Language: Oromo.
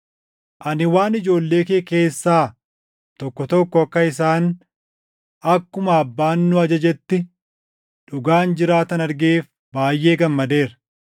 Ani waan ijoollee kee keessaa tokko tokko akka isaan akkuma Abbaan nu ajajetti dhugaan jiraatan argeef baayʼee gammadeera.